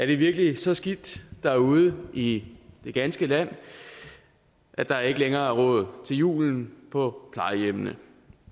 det virkelig så skidt til derude i det ganske land at der ikke længere er råd til julen på plejehjemmene